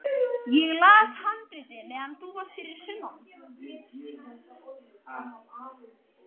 Ég las handritið meðan þú varst fyrir sunnan.